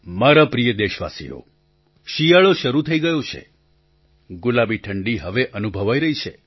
મારા પ્રિય દેશવાસીઓ શિયાળો શરૂ થઈ ગયો છે ગુલાબી ઠંડી હવે અનુભવાઈ રહી છે